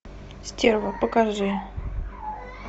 стерва покажи